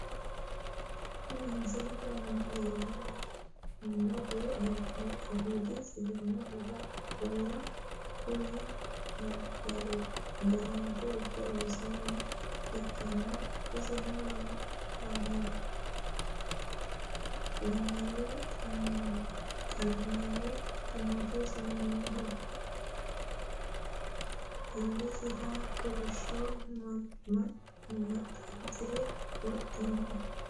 Kuni misilete aana leellanni noohu albiidi sidaamu daga qoqqowira keeru agaraancho ikke loosinoha ikkanna isino alamaayyo ximotewos yaamamanno .illesirano kolishsho maxanxure wodhino.